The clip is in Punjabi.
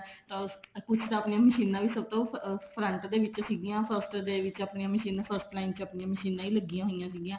ਕੁੱਛ ਤਾਂ ਆਪਣੀਆਂ ਮਸ਼ੀਨਾ ਵੀ ਸਭ ਤੋਂ front ਤੇ ਸੀ first ਦੇ ਵਿੱਚ ਆਪਣੀਆਂ ਮਸ਼ੀਨਾ first line ਚ ਅਪਣਿਆ ਮਸ਼ੀਨਾ ਹੀ ਲੱਗੀਆਂ ਹੋਈਆਂ ਸੀਗੀਆ